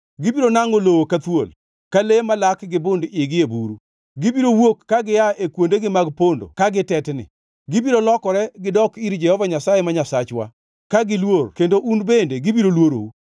Gibiro nangʼo lowo ka thuol, ka le malak gi bund-igi e buru. Gibiro wuok ka gia e kuondegi mag pondo ka gitetni. Gibiro lokore gidok ir Jehova Nyasaye, ma Nyasachwa, ka giluor kendo un bende gibiro luorou.